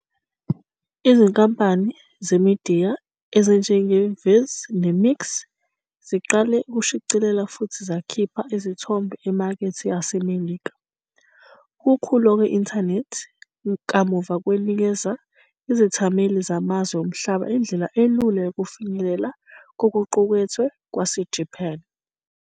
Izinkampani zemidiya ezinjengeViz neMixx ziqale ukushicilela futhi zakhipha izithombe emakethe yaseMelika. Ukukhula kwe-Intanethi kamuva kwanikeza izethameli zamazwe omhlaba indlela elula yokufinyelela kokuqukethwe kwaseJapan.